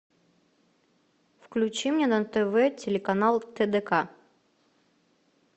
включи мне на тв телеканал тдк